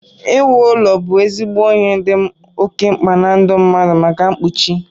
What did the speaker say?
Iwu ụlọ bụ ezigbo ihe dị oké mkpa na ndụ mmadụ maka mkpuchi